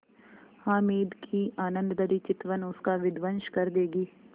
हामिद की आनंदभरी चितवन उसका विध्वंस कर देगी